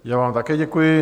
Já vám také děkuji.